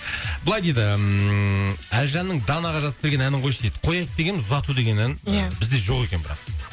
былай дейді ммм әлжанның данаға жазып берген әнін қойшы дейді қояйық дегенбіз ұзату деген ән ия бізде жоқ екен бірақ